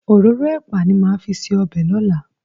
Òróró ẹ̀pà ni màá fi ṣe ọbẹ̀ lọ́la.